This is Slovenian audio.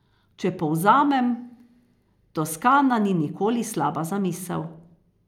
Če povzamem, Toskana ni nikoli slaba zamisel.